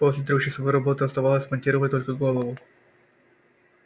после трехчасовой работы оставалось смонтировать только голову